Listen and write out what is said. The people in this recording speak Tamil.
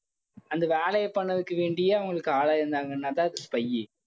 அந்த வேலையை பண்ணதுக்காக வேண்டியே அவங்க ஆளாயிருந்தாங்கனாத spy